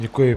Děkuji.